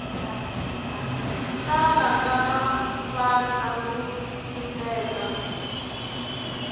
tala ka mavandla ku simeka